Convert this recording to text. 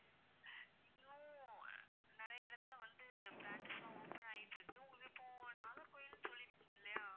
இன்னும் நிறைய இடத்துல branches லாம் open ஆகிட்டு இருக்கு உங்களுக்கு நாகர்கோவிலுன்னு சொல்லி இருக்கீங்க இல்லையா